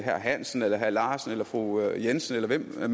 herre hansen eller herre larsen eller fru jensen eller hvem det